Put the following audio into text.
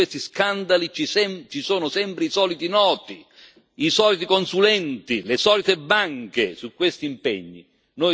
Dietro a tutti questi scandali ci sono sempre i soliti noti, i soliti consulenti, le solite banche.